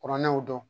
Kuranɛ y'o dɔn